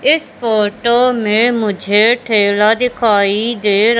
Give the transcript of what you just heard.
इसे फोटो में मुझे ठेला दिखाइ दे--